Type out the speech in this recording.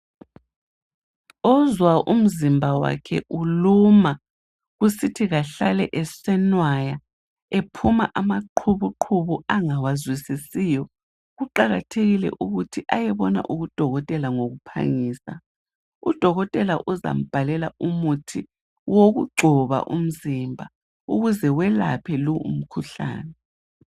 Ozwa umzimba wakhe uluma kusithi kahlale esenwaya ephuma amaqubuqubu angawazwisisiyo kuqakathekile ukuthi ayebona udokotela ngokuphangisa. Udokotela uzambhalela umuthi owokugcoba umzimba ukuze elaphe lo umkhuhlane.